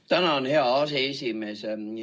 Tänan, hea aseesimees!